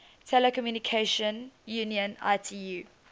telecommunication union itu